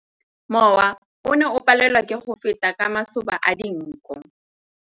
Mowa o ne o palelwa ke go feta ka masoba a dinko.